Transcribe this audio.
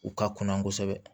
U ka kunna kosɛbɛ